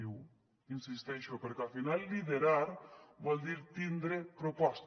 hi insisteixo perquè al final liderar vol dir tindre proposta